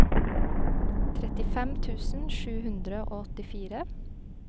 trettifem tusen sju hundre og åttifire